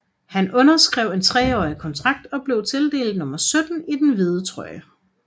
Han underskrev en 3 årig kontrakt og blev tildelt nummer 17 i den hvide trøje